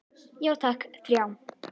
Já takk, þrjá.